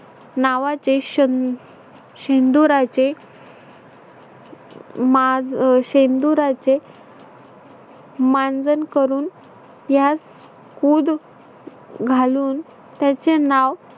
नावाचे श अं शेंदुराचे मा अह शेंदुराचे मांजन करून यात उद घालून त्याचे नाव